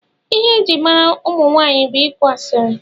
Ihe eji mara ụmụnwanyị bụ ịkụ asiri